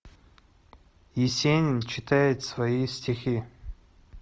есенин читает свои стихи